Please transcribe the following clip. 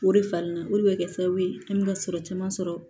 O de fan na o de bɛ kɛ sababu ye an bɛ ka sɔrɔ caman sɔrɔ